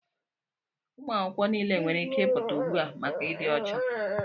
Ụmụ akwụkwọ niile nwere ike ịpụta ugbu a maka ịdị ọcha!